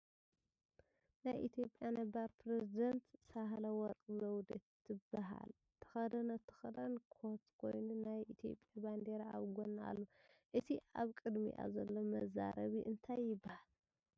ናይ ኢትዮጵያ ነባር ፕሬዚዳንት ሳህለወርቅ ዘውዴ ትበካል ተከደነቶ ክዳን ኮት ኮይኑ ናይ ኢትዮጵያ ባንዴራ ኣብ ጎና ኣሎ ። እቲ ኣብ ቅድሚኣ ዘሎ መዛረቢ እንታይ ይበሃል?